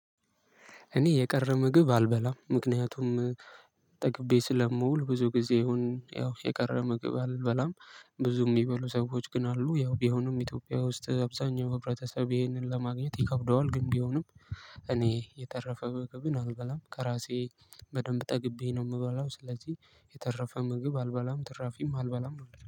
እኔ የቀረበ ምግብ አልበላም ምክንያቱም ጠቅቤ ስለምውል ብዙ ጊዜ ይሁን ያው የቀረበ ምግብ አልበላም። ብዙ የሚበሉ ሰዎች ግን አሉ ያው ቢሆንም ኢትዮጵያ ውስጥ አብዛኛው ህብረተሰብ ይሄንን ለማግኘት ይከብደዋል። ግን ቢሆንም እኔ የተረፈ ምግብን አልበላም ከራሴ በደንብ ጠግቤ ነው የምበላው። ስለዚህ የተረፈ ምግብ አልበላም ትራፊም አልበላም።